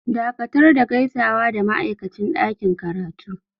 Dakatar da gaisawa da ma'aikacin ɗakin karatu!